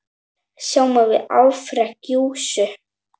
Sjáum við afrek Jesú?